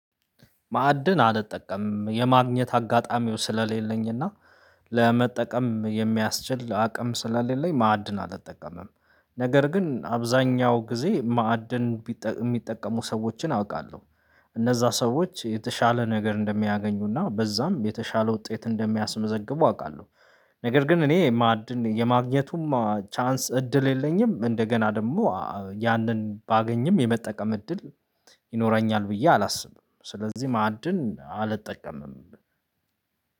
ማዕድን አልጠቀምም የማግኘት አጋጣሚው ስለሌለኝና ለመጠቀም የሚያስችል አቅም ስለሌለኝ ላይ ማዕድን አልጠቀምም። ነገር ግን አብዛኛው ጊዜ ማዕድን የሚጠቀሙ ሰዎችን አውቃለሁ። እነዛ ሰዎች የተሻለ ነገር እንደሚያገኙና በዛም የተሻለ ውጤት እንደሚያስመዘግቡ አውቃለሁ። ነገር ግን እኔ ማዕድን የማግኘቱም እድል የለኝም። እንደገና ደግሞ ያንን ባገኝም የመጠቀም እድል ይኖረኛል ብዬ አላስብም። ስለዚህ ማዕድን አልጠቀምም።